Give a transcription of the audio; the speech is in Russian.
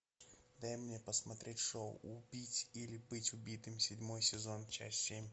дай мне посмотреть шоу убить или быть убитым седьмой сезон часть семь